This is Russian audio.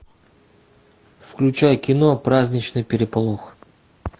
включай кино праздничный переполох